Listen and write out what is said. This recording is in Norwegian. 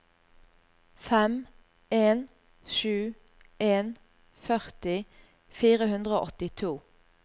fem en sju en førti fire hundre og åttito